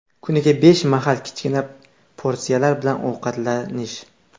Kuniga besh mahal, kichkina porsiyalar bilan ovqatlanish.